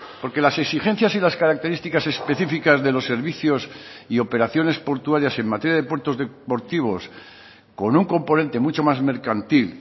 porque las exigencias y las características específicas de los servicios y operaciones portuarias en materia de puertos deportivos con un componente mucho más mercantil